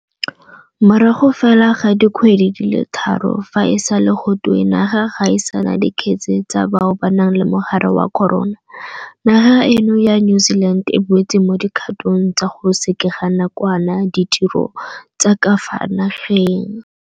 Morago fela ga dikgwedi di le tharo fa e sale gotwe naga ga e sa na dikgetse tsa bao ba nang le mogare wa corona, naga eno ya New Zealand e boetse mo dikgatong tsa go sekega nakwana ditiro tsa ka fa nageng.